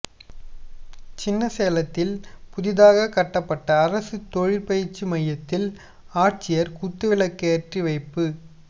சின்னசேலத்தில் புதிதாக கட்டப்பட்ட அரசு தொழிற்பயிற்சி மையத்தில் ஆட்சியா் குத்துவிளக்கேற்றிவைப்பு